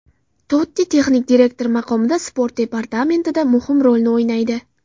Totti texnik direktor maqomida sport departamentida muhim rolni o‘ynaydi.